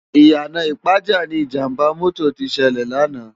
Iyana Ipaja ni Ijàmbá mòtó ti sèlè làná